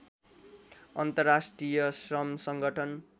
अन्तर्राष्ट्रिय श्रम सङ्गठन